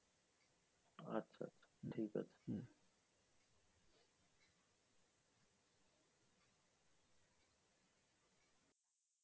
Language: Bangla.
আচ্ছা আচ্ছা ঠিক আছে।